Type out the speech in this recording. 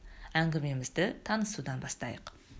әңгімемізді танысудан бастайық